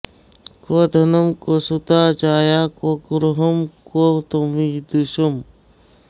क्व धनं क्व सुता जाया क्व गृहं क्व त्वमीदृशः